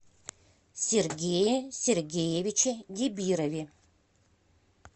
сергее сергеевиче дибирове